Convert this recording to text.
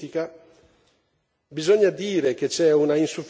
Bisogna costruire le condizioni per una transizione politica.